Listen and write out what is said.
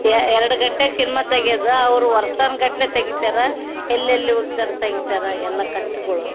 ಯಾ ಎರಡು ಗಂಟೆ ಸಿನಿಮಾ ತೆಗೆಯೋದು ಅವರು ವರ್ಷಾನುಗಟ್ಟಲೆ ತೆಗಿತಾರೆ ಎಲ್ಲೆಲ್ಲಿ ಹೋಗ್ತಾರೆ ತೆಗಿತಾರೆ ಎಲ್ಲ ಕಷ್ಟಗಳು.